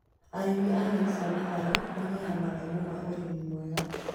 Arĩmi a nyeni cia matharũ magĩaga mathomo ma ũrĩmi mwega